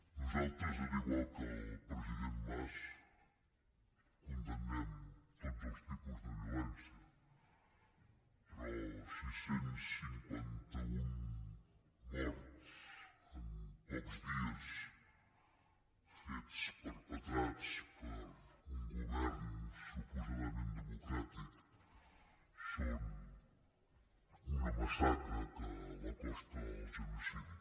nosaltres igual que el president mas condemnem tots els tipus de violència però sis cents i cinquanta un morts en pocs dies fets perpetrats per un govern suposadament democràtic són una massacre que l’acosta al genocidi